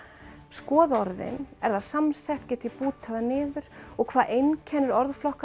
skoða orðin er það samsett get ég bútað það niður og hvað einkennir